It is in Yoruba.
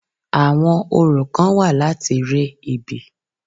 Àwọn orò kán wà láti re ibi.